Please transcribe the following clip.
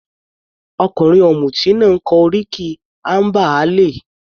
Ọkùnrin ọ̀mùti náà kọ oríkì amber ale.